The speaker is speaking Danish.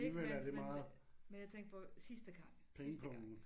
Ikke men men men jeg tænkte på sidste gang sidste gang